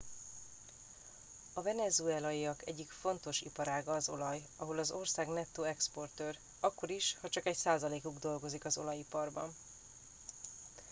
a venezuelaiak egyik fontos iparága az olaj ahol az ország nettó exportőr akkor is ha csak egy százalékuk dolgozik az olajiparban